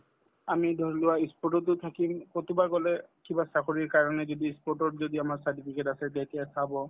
আমি ধৰিলোৱা ই sport ততো থাকিম কৰবাত গলে কিবা চাকৰিৰ কাৰণে যদি ই sport তত যদি আমাৰ certificate আছে যেতিয়া চাব